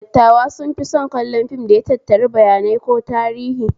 Dattawa sun fi son kallon fim da ya tattari bayanai ko tarihi